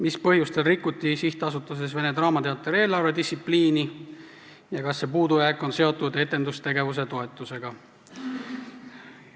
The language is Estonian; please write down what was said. Mis põhjustel rikuti SA-s Vene Teater eelarvedistsipliini ja kas see puudujääk on seotud etendusasutuste tegevustoetusega?